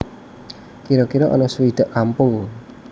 Kira kira ana suwidak kampung